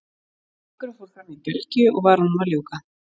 Leikurinn fór fram í Belgíu og var honum að ljúka.